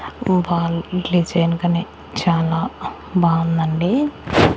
చాలా బావుందండి.